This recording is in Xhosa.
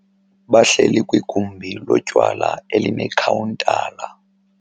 Bahleli kwigumbi lotywala elinekhawuntala.